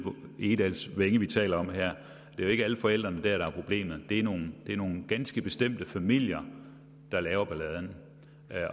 egedalsvænge vi taler om her det er jo ikke alle forældrene dér der er problemet det er nogle er nogle ganske bestemte familier der laver balladen